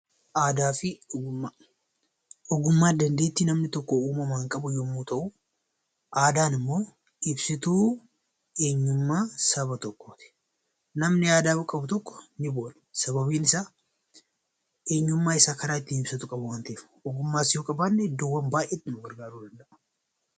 Ogummaan dandeettii namni tokko uumamaan qabu yommuu ta'u, aadaan immoo ibsituu eenyummaa saba tokkooti. Namni aadaa qabu tokko ni boona sababiin isaa eenyummaa isaa karaa ittiin ibsatu qaba waan ta'eef. Ogummaas yoo qabaanne iddoo baay'eetti nu gargaaruu danda'a.